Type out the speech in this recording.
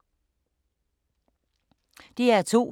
DR2